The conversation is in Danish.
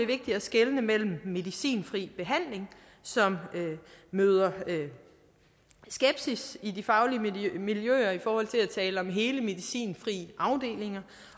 vigtigt at skelne mellem medicinfri behandling som møder skepsis i de faglige miljøer i forhold til at tale om hele medicinfri afdelinger